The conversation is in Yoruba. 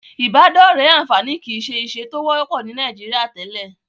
Ìbádọ́rẹ̀ẹ́ àǹfààní kìí ṣe ìṣe tó wọ́pọ̀ ní Nàìjíríà tẹ́lẹ̀.